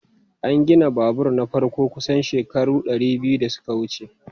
An gina babur na farko kusan shekaru dari biyu da suka wuce.